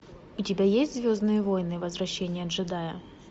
у тебя есть звездные войны возвращение джедая